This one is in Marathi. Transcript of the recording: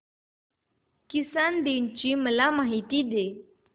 किसान दिवस ची मला माहिती दे